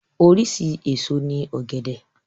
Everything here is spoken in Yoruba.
Oríṣi èso ní ògẹ̀dẹ̀